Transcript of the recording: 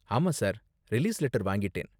ஆமா, sir. Release letter வாங்கிட்டேன்.